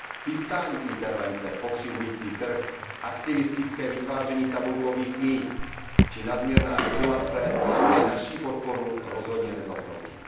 Fiskální intervence pokřivující trh, aktivistické vytváření tabulkových míst či nadměrná regulace si naší podporu rozhodně nezaslouží.